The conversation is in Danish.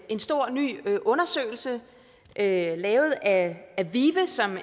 en stor ny undersøgelse lavet lavet af vive som